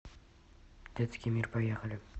детский мир поехали